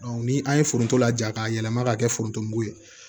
ni an ye foronto laja k'a yɛlɛma ka kɛ foronto mugu ye